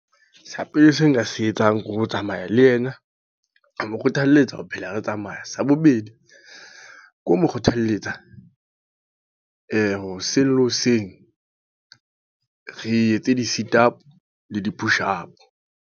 Sa pele se nka se etsang, ke ho tsamaya le ena. Ho mo kgothalletsa ho phela re tsamaya. Sa bobedi, ke ho mo kgothalletsa hoseng le hoseng, re etse di-sit up le di-push up.